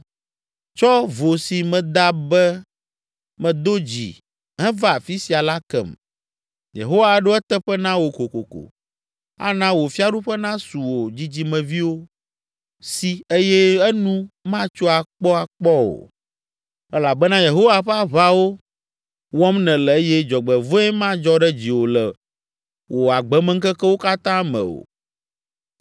Tsɔ vo si meda be medo dzi heva afi sia la kem. Yehowa aɖo eteƒe na wò kokoko, ana wò fiaɖuƒe nasu wò dzidzimeviwo si eye enu matso akpɔakpɔ o elabena Yehowa ƒe aʋawo wɔm nèle eye dzɔgbevɔ̃e madzɔ ɖe dziwò le wò agbemeŋkekewo katã me o.